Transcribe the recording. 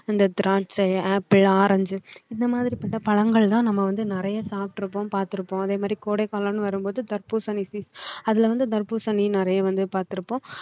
திராட்சை apple orange இந்த மாதிரி போட்ட பழங்கள்தான் நம்ம வந்து நிறைய சாப்பிட்டு இருப்போம் பார்த்திருப்போம். அதே மாதிரி கோடைகாலம்னு வரும்போது தர்பூசணி அதுல இருந்து தர்பூசணி நிறைய வந்து பார்த்திருப்போம்.